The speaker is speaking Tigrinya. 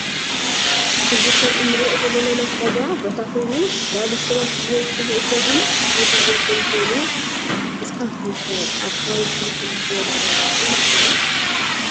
እዚ ከም አንሪኦ ዘለና ናይ ዕዳጋ ቦታ ኮይኑ ዝተፈላለዩ ሰባት ብበዝሒ ዝዕዱጉን ዝልውጡን ኮይኑ ንስካትኩም ከ አብ ከባቢኩም ከምዚ ዝበለ ዕዳጋ አለኩም ዶ?